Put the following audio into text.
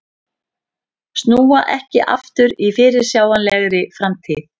Snúa ekki aftur í fyrirsjáanlegri framtíð